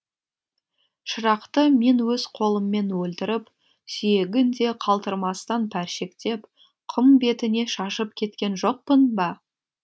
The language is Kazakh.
шырақты мен өз қолыммен өлтіріп сүйегін де қалдырмастан пәршектеп құм бетіне шашып кеткен жоқпын ба